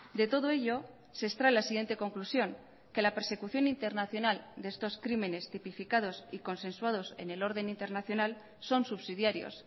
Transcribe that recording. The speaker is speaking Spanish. de todo ello se extrae la siguiente conclusión que la persecución internacional de estos crímenes tipificados y consensuados en el orden internacional son subsidiarios